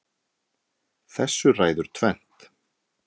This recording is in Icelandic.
Þessu ræður tvennt